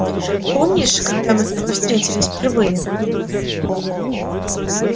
помнишь когда мы с тобой встретились впервые